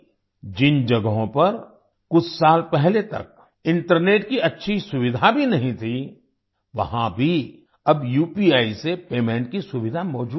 जिन जगहों पर कुछ साल पहले तक इंटरनेट की अच्छी सुविधा भी नहीं थी वहां भी अब उपी से पेमेंट की सुविधा मौजूद है